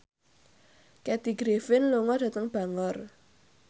Kathy Griffin lunga dhateng Bangor